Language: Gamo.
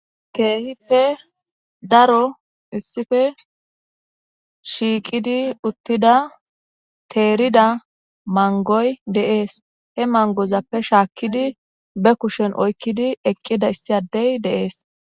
keehippe daro issife shiiqidi uttida teerida mangoy de'es he mangozappe shaakkidi be kushen oykkidi eqqida issi addey deees